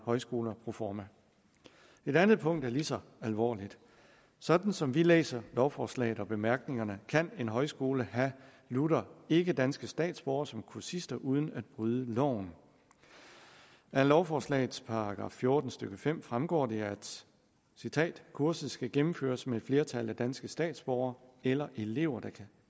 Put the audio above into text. højskoler proforma et andet punkt er lige så alvorligt sådan som vi læser lovforslaget og bemærkningerne kan en højskole have lutter ikkedanske statsborgere som kursister uden at bryde loven af lovforslagets § fjorten stykke fem fremgår det at kurset skal gennemføres med et flertal af danske statsborgere eller elever der kan